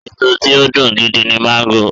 Èso tí ó dùn gidi ni máńgò.